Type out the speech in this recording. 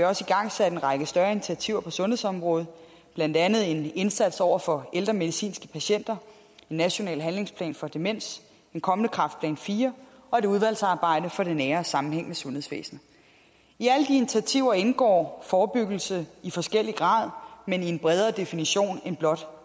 også igangsat en række større initiativer på sundhedsområdet blandt andet en indsats over for ældre medicinske patienter en national handlingsplan for demens en kommende kræftplan iv og et udvalgsarbejde for det nære og sammenhængende sundhedsvæsen i alle de initiativer indgår forebyggelse i forskellig grad men i en bredere definition end blot